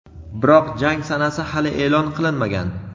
Biroq jang sanasi hali e’lon qilinmagan.